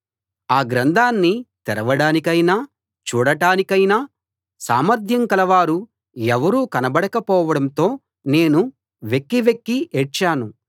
ఆ గ్రంథాన్ని తెరవడానికైనా చూడటానికైనా సామర్థ్యం కలవారు ఎవరూ కనబడక పోవడంతో నేను వెక్కి వెక్కి ఏడ్చాను